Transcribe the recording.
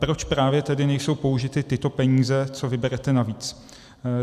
Proč právě tedy nejsou použity tyto peníze, co vyberete navíc?